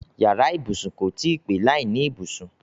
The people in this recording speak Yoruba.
Yàrá ibùsùn kò tí í pé láìní ibùsùn.